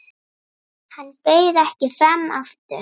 Hann bauð ekki fram aftur.